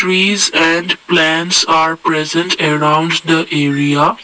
trees and plants are present arounds the area.